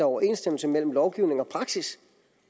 overensstemmelse mellem lovgivning og praksis